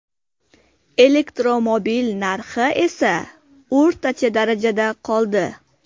Elektromobil narxi esa o‘rtacha darajada qoldi.